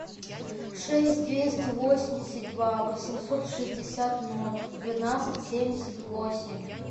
шесть двести восемьдесят два восемьсот шестьдесят ноль двенадцать семьдесят восемь